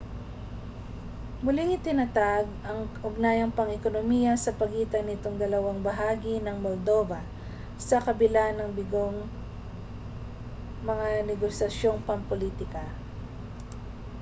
muling itinatag ang ugnayang pang-ekonomiya sa pagitan nitong dalawang bahagi ng moldova sa kabila ng bigong mga negosasyong pampulitika